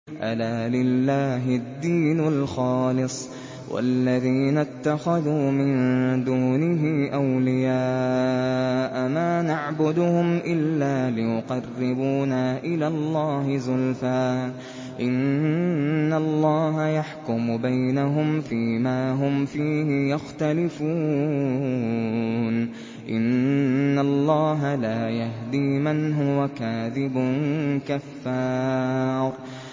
أَلَا لِلَّهِ الدِّينُ الْخَالِصُ ۚ وَالَّذِينَ اتَّخَذُوا مِن دُونِهِ أَوْلِيَاءَ مَا نَعْبُدُهُمْ إِلَّا لِيُقَرِّبُونَا إِلَى اللَّهِ زُلْفَىٰ إِنَّ اللَّهَ يَحْكُمُ بَيْنَهُمْ فِي مَا هُمْ فِيهِ يَخْتَلِفُونَ ۗ إِنَّ اللَّهَ لَا يَهْدِي مَنْ هُوَ كَاذِبٌ كَفَّارٌ